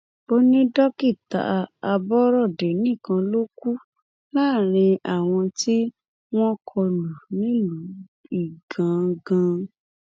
ó ní dókítà aborode nìkan ló ti kú láàrin àwọn tí wọn kọlù nílùú igangan